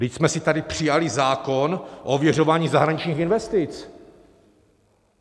Vždyť jsme si tady přijali zákon o ověřování zahraničních investic.